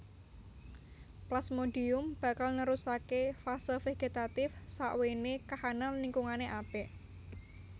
Plasmodium bakal nerusaké fase vegetatif sakwéné kahanan lingkungané apik